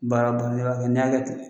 Baara ba n'i b'a kɛ n'i y'a kɛ ten